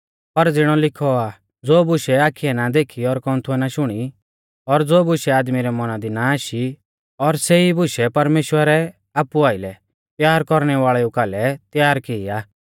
पर ज़िणौ लिखौ आ ज़ो बुशै आखिऐ ना देखी और कौन्थुऐ ना शुणी और ज़ो बुशै आदमी रै मौना दी ना आशी और सेई बुशै परमेश्‍वरै आपु आइलै प्यार कौरणै वाल़ेउ कालै तैयार की आ